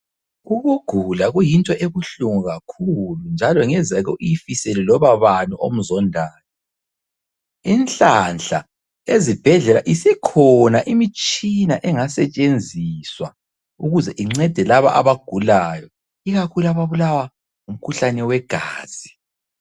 Ukugula kuyinto ebuhlungu kakhulu njalo ngezake uyifisele loba bani omzondayo. Inhlanhla ezibhedlela isikhona imitshina engasetshenziswa ukuze incede labo abagulayo ikakhulu ababulawa ngumkhuhlane wegazi.